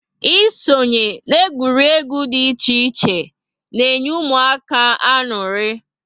Ịsonye na egwuregwu dị iche iche na enye ụmụaka añụrị